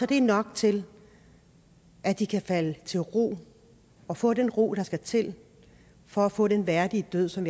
det nok til at de kan falde til ro og få den ro der skal til for at få den værdige død som